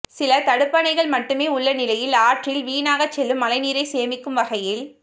சில தடுப்பணைகள் மட்டுமே உள்ள நிலையில் ஆற்றில் வீணாகச் செல்லும் மழைநீரை சேமிக்கும் வகையில்